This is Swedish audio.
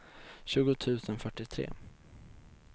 tjugo tusen fyrtiotre